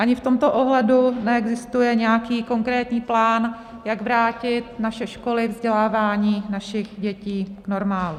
Ani v tomto ohledu neexistuje nějaký konkrétní plán, jak vrátit naše školy, vzdělávání našich dětí k normálu.